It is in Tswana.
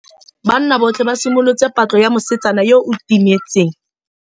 Banna botlhê ba simolotse patlô ya mosetsana yo o timetseng.